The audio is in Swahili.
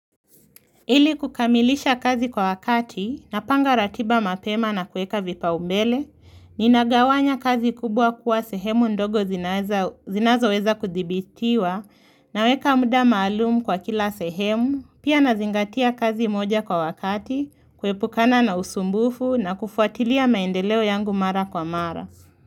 Ili kukamilisha kazi kwa wakati, napanga ratiba mapema na kuweka vipaumbele, ninagawanya kazi kubwa kuwa sehemu ndogo zinazo zinazoweza kudhibitiwa, naweka muda maalumu kwa kila sehemu, pia nazingatia kazi moja kwa wakati, kuepukana na usumbufu na kufuatilia maendeleo yangu mara kwa mara.